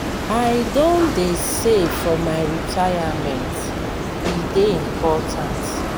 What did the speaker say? i don dey save for my retirement e dey important.